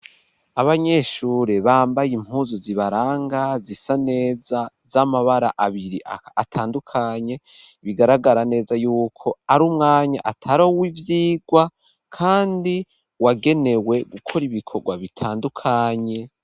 Abanyeshure bambaye impuzu zibaranga, zisa neza ,z'amabara abiri atandukanye bigaragara neza y'uko ari umwanya ataruw' ivyigwa ,kandi wagenewe gukora ibikorwa bitandukanye.